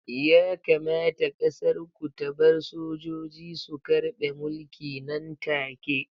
Yakamata ƙasar ku ta bar sojoji su karɓe mulki nan take!